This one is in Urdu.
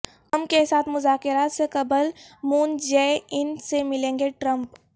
کم کے ساتھ مذاکرات سے قبل مون جے ان سے ملیں گے ٹرمپ